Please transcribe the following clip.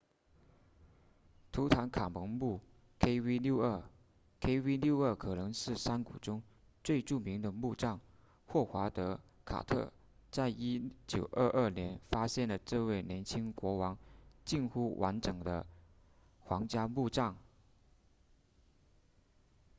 图坦卡蒙墓 kv62 kv62 可能是山谷中最著名的墓葬霍华德卡特在1922年发现了这位年轻国王近乎完整的皇家墓葬